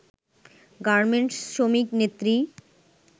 garment শ্রমিক নেত্রী